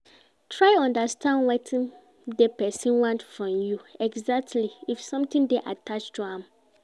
Try understand wetin de persin want from you exactly if something de attached to am